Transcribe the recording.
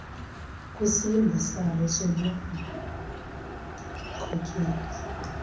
kwisimbo sabo sobunmkokeli